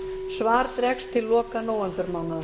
svar dregst til loka nóvembermánaðar